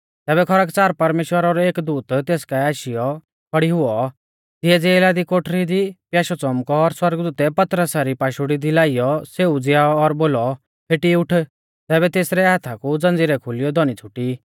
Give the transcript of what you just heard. तैबै खरकच़ार परमेश्‍वरा रौ एक दूत तेस काऐ आशीयौ खौड़ी हुऔ तिऐ ज़ेला री कोठरी दी प्याशौ च़ौमकौ और सौरगदूतै पतरसा री पाशुड़ी दी लाइयौ सेऊ उज़ीयाऔ और बोलौ फेटी उठ तैबै तेसरै हाथा कु ज़ंज़ीरै खुलीयौ धौनी छ़ुटी